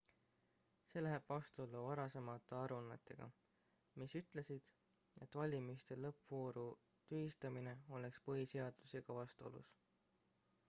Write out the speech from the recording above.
see läheb vastuollu varasemate aruannetega mis ütlesid et valimiste lõppvooru tühistamine oleks põhiseadusega vastuolus